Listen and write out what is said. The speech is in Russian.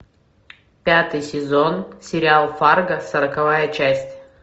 пятый сезон сериал фарго сороковая часть